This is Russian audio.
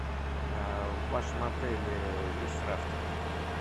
в вашем отеле есть рафтинг